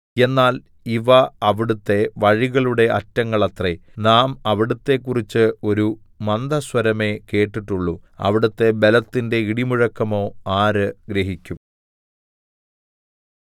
എന്നാൽ ഇവ അവിടുത്തെ വഴികളുടെ അറ്റങ്ങളത്രേ നാം അവിടുത്തെക്കുറിച്ച് ഒരു മന്ദസ്വരമേ കേട്ടിട്ടുള്ളു അവിടുത്തെ ബലത്തിന്റെ ഇടിമുഴക്കമോ ആര് ഗ്രഹിക്കും